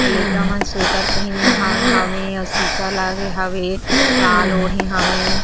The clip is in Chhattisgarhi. अउ लइका मन स्वेटर पहिने हावे शीशा लगे हावे साल ओढ़े हावे।